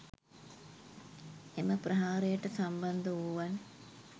එම ප්‍රහාරයට සම්බන්ධවූවන්